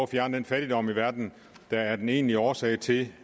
fjerne den fattigdom i verden der er den egentlige årsag til